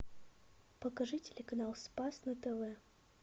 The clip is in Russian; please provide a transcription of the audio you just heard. покажи телеканал спас на тв